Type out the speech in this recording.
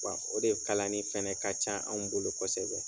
O de kalani fana ka ca anw bolo kosɛbɛ.